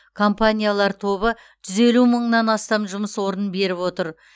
компаниялар тобы жүз елу мыңнан астам жұмыс орнын беріп отыр